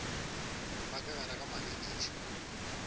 ba ka gare ga malebiša